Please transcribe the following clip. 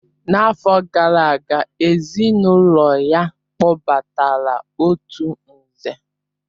N'afọ gara aga, ezinụlọ ya kpọpụtara otu Nze